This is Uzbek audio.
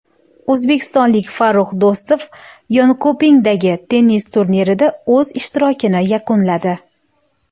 O‘zbekistonlik Farrux Do‘stov Yonkopingdagi tennis turnirida o‘z ishtirokini yakunladi.